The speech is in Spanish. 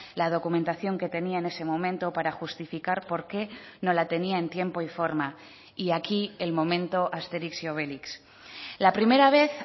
la documentación que tenía en ese momento para justificar por qué no la tenía en tiempo y forma y aquí el momento asterix y obelix la primera vez